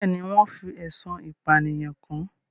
Bẹ́ẹ̀ ni, wọ́n fi ẹ̀sùn ìpànìyàn kàn án.